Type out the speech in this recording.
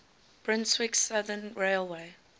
brunswick southern railway